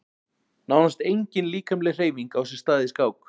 Nánast engin líkamleg hreyfing á sér stað í skák.